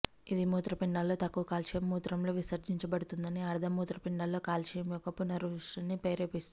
ఇది మూత్రపిండాల్లో తక్కువ కాల్షియం మూత్రంలో విసర్జించబడుతుందని అర్ధం మూత్రపిండాల్లో కాల్షియం యొక్క పునఃసృష్టిని ప్రేరేపిస్తుంది